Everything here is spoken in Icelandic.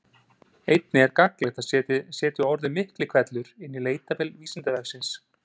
Einnig er gagnlegt að setja orðið Miklihvellur inn í leitarvél Vísindavefsins.